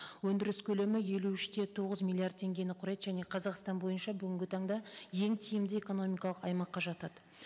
өндіріс көлемі елу үш те тоғыз миллиард теңгені құрайды және қазақстан бойынша бүгінгі таңда ең тиімді экономикалық аймаққа жатады